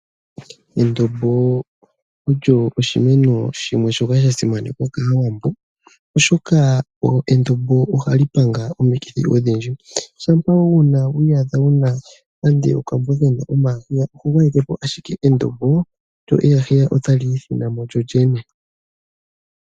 Endombo olyo oshimeno shono sha simanekwa kaawambo ,oshoka endombo ohaali panga omikithi odhindji. Shapwa wi iyadha wuna okakwiya oho gwayekepo ike endombo lyo otali ithinamo lyolyene.